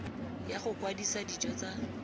ya go kwadisa dijo tsa